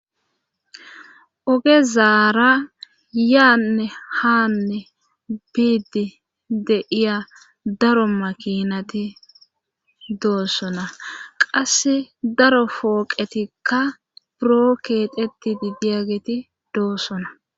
Ogezaara yaanne haanne biidi de'iya daro makinati doossona. qase daro fooqetikka buro keexetidi diyageti doossona.